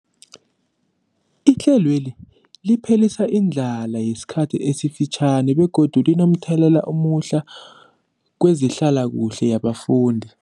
Ihlelweli liphelisa indlala yesikhathi esifitjhani begodu linomthelela omuhle kezehlalakuhle yabafundi.